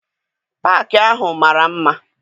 Paakị ahụ mara mma.